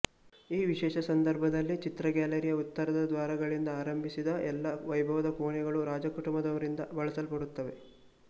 ಈ ವಿಶೇಷ ಸಂದರ್ಭದಲ್ಲಿ ಚಿತ್ರ ಗ್ಯಾಲರಿಯ ಉತ್ತರದ ದ್ವಾರಗಳಿಂದ ಆರಂಭಿಸಿ ಎಲ್ಲಾ ವೈಭವದ ಕೋಣೆಗಳು ರಾಜಕುಟುಂಬದವರಿಂದ ಬಳಸಲ್ಪಡುತ್ತವೆ